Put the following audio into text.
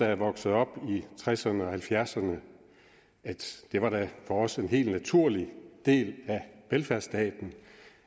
jeg voksede op i tresserne og halvfjerdserne var det for os en helt naturlig del af velfærdsstaten